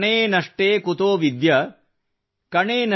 ಕ್ಷಣೇ ನಷ್ಟೇ ಕುತೋ ವಿದ್ಯಾ ಕಣೆ ನಷ್ಟೇ ಕುತೋ ಧನಮ್